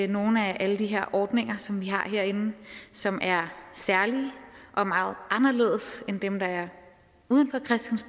nogle af alle de her ordninger som vi har herinde som er særlige og meget anderledes end dem der er uden